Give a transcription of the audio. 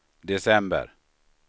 december